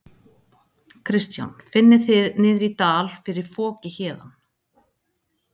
Kristján: Finnið þið niðri í dal fyrir foki héðan?